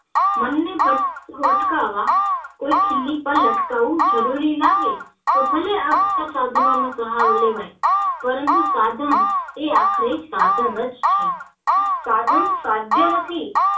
મન ને ભટકતું અટકાવવા કોઈ ખીલી પર લટકાવુ જરૂરી લાગે તો ભલે આ બધા સાધનો નો સહારો લેવાય પરંતુ સાધન એ આખરે સાધન જ છે સાધન સાધ્ય નથી